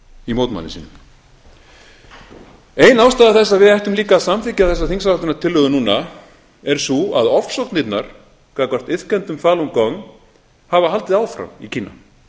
í mótmælum sínum ein ástæða þess að við ættum líka að samþykkja þessa þingsályktunartillögu núna er sú að ofsóknirnar gagnvart iðkendum falun gong hafa haldið áfram í kína